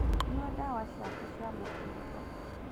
Nyua ndawa ciaku cia mũkingo